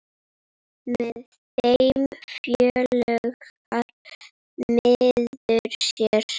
Með þeim fjölgar maður sér.